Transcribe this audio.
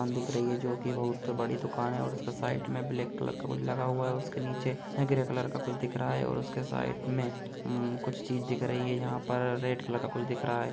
दुकान दिख रही है जो की बहुत बड़ी दुकान है और साइड मे ब्लैक कलर का कुछ लगा हुआ है उसके नीचे ग्रे कलर का कुछ दिख रहा है और उसके साइड मे कुछ चीज दिख रही है और यहाँ पर रेड कलर का कुछ दिख रहा है।